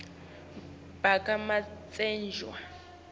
bakamatsenjwa